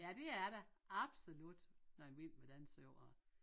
Ja det er der absolut noget Vild Med Dans over